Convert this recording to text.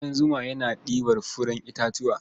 Ƙudan zuma yana ɗibar furen itatuwa.